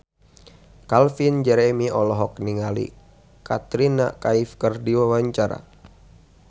Calvin Jeremy olohok ningali Katrina Kaif keur diwawancara